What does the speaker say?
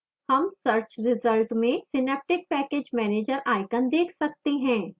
हम search result में synaptic package manager icon देख सकते हैं